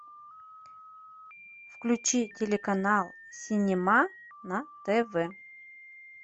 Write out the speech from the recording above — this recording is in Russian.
включи телеканал синема на тв